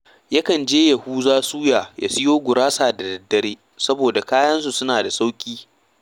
Yakan je Yahuza Suya ya siyo gurasa da daddare, saboda kayansa suna da sauƙi